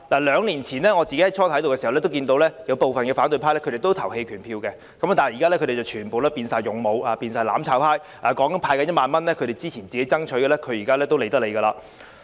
兩年前，我剛加入立法會時，看見部分反對派會投棄權票，但他們現已全部變成"勇武"、"攬炒派"，即使是他們之前爭取的1萬元，現在也懶得理。